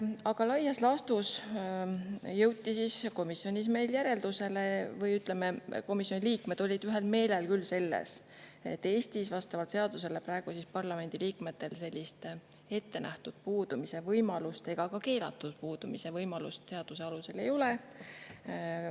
Aga laias laastus jõuti komisjonis järeldusele või, ütleme, komisjoni liikmed olid ühel meelel selles, et Eestis vastavalt seadusele praegu parlamendiliikmetel sellist ettenähtud puudumise võimalust ega ka keelatud puudumise võimalust seaduse alusel ei ole.